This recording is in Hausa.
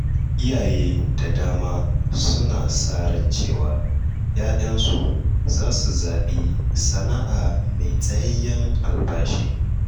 Iyaye da dama suna sa ran cewa ‘ya‘yansu zasu zaɓi sana’a mai tsayayyen albashi.